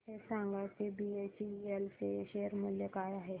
हे सांगा की बीएचईएल चे शेअर मूल्य काय आहे